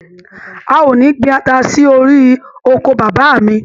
A ò ní gbin ata sí orí oko bàbá mi.